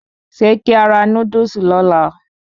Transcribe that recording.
Se ki a ra Núdúsì lóla?